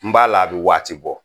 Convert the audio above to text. N b'a la a bɛ waati bɔ